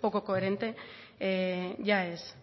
poco coherente ya es